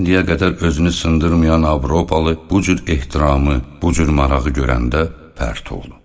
İndiyə qədər özünü sındırmayan Avropalı bu cür ehtiramı, bu cür marağı görəndə pərt oldu.